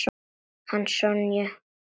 Hana Sonju?